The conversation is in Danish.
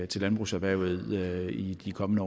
til landbrugserhvervet i de kommende